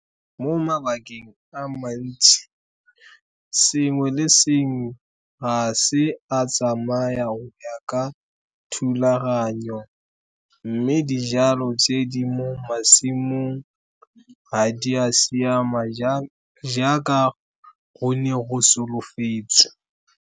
Mo mabakeng a mantsi, sengwe le sengwe ga se a tsamaya go ya ka thulaganyo, mme dijalo tse di mo masimong, ga di a siama jaaka go ne go solofetswe.